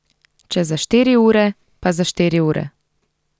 Če za štiri ure, pa za štiri ure.